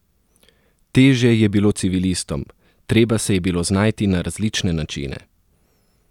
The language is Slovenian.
Težje je bilo civilistom: "Treba se je bilo znajti na različne načine.